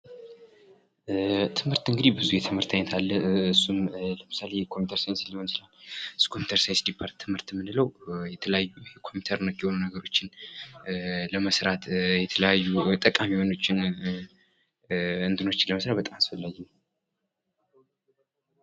ትምህርት እንግዲህ ብዙ አይነት የትምህርት አይነት አለ እሱም የኮምፒውተር ሳይንስ ሊሆን ይችላል። የኮምፒውተር ሳይንስ ዲፓርትመንት የምንለው የተለያዩ የኮምፒውተር ነክ የሆኑ ነገሮችን ለመስራት የተለያዩ ጠቃሚ ነገሮችን ለመስራት አስፈላጊ ነው።